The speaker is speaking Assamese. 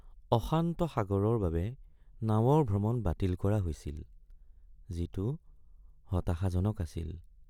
অশান্ত সাগৰৰ বাবে নাৱৰ ভ্ৰমণ বাতিল কৰা হৈছিল, যিটো হতাশাজনক আছিল।